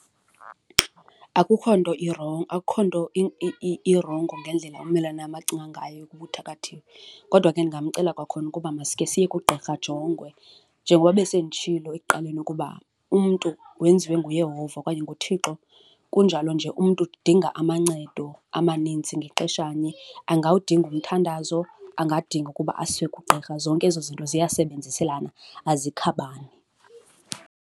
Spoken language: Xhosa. Akukho nto , akukho nto irongo ngendlela ummelwane wam acinga ngayo ukuba uthakathiwe kodwa ke ndingamcela kwakhona ukuba masike siye kugqirha ajongwe. Njengoba besenditshilo ekuqaleni ukuba umntu wenziwe nguYehova okanye nguThixo, kunjalo nje umntu udinga amancedo amanintsi ngexeshanye. Angawudinga umthandazo, angadinga ukuba asiwe kugqirha, zonke ezo zinto ziyasebenziselana azikhabani.